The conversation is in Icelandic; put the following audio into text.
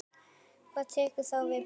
Hver tekur þá við Blikum?